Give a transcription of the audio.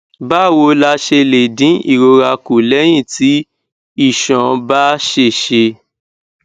báwo la ṣe lè dín ìrora kù léyìn tí iṣan bá ṣèṣe